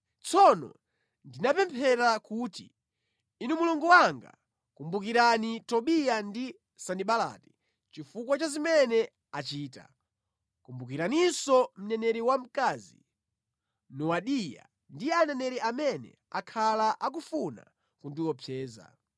Tsono ndinapemphera kuti, “Inu Mulungu wanga, kumbukirani Tobiya ndi Sanibalati chifukwa cha zimene achita. Kumbukiraninso mneneri wamkazi Nowadiya ndi aneneri amene akhala akufuna kundiopseza.”